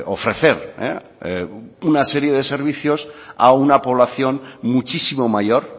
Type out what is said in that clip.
ofrecer una serie de servicios a una población muchísimo mayor